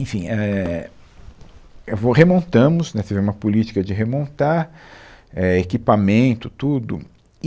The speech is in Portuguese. Enfim, é, é vou, remontamos, né, tivemos uma política de remontar, é, equipamento, tudo. E